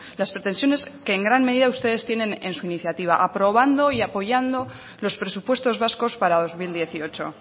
las pretensiones que en gran medida ustedes tienen en su iniciativa aprobando y apoyando los presupuestos vascos para dos mil dieciocho